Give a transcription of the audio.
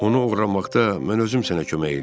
Onu oğurlamaqda mən özüm sənə kömək eləyərəm.